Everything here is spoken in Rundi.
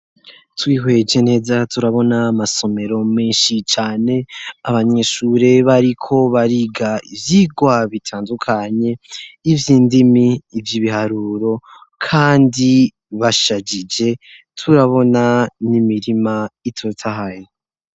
Twihweje neza, turabona amasomero menshi cane ; abanyeshure bariko bariga ivyigwa bitandukanye, ivy'indimi ivy' ibiharuro kandi bashajije. Turabona n'imirima itotahaye.